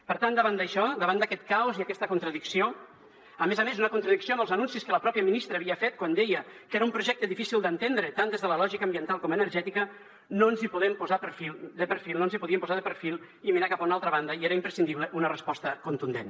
per tant davant d’això davant d’aquest caos i aquesta contradicció a més a més una contradicció amb els anuncis que la pròpia ministra havia fet quan deia que era un projecte difícil d’entendre tant des de la lògica ambiental com energètica no ens podíem posar de perfil i mirar cap a una altra banda i era imprescindible una resposta contundent